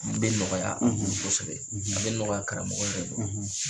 A bɛ nɔgɔya kosɛbɛ, a bɛ nɔgɔya karamɔgɔ yɛrɛ bolo,